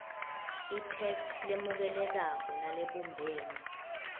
itheksthi lemukelekako nalebumbene